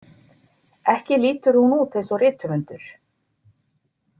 Ekki lítur hún út eins og rithöfundur.